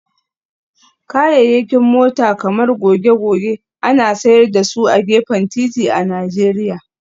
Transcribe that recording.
Kayayyakin mota kamar goge-goge ana sayar da su a gefen titi a Najeriya